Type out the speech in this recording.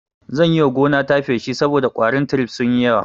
Zan yiwa gonata feshi saboda ƙwarin tirif sunyi yawa